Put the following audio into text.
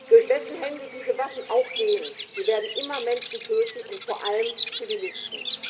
Durch wessen Hände diese Waffen auch gehen, sie werden immer Menschen töten und vor allem Zivilisten.